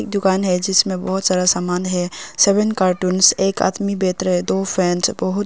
दुकान है जिसमें बहुत सारा सामान है सेवन कार्टूंस एक आदमी बेहतर है दो फ्रेंड्स बहुत--